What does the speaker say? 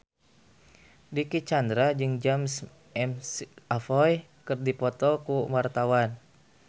Dicky Chandra jeung James McAvoy keur dipoto ku wartawan